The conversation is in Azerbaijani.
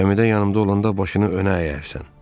Kəmidə yanımda olanda başını önə əyəcəksən.